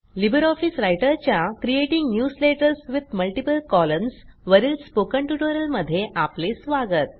Libre office रायटरच्या creating newsletters with multiple columns वरील spoken ट्युटोरियलमध्ये आपले स्वागत